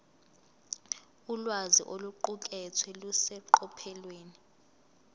ulwazi oluqukethwe luseqophelweni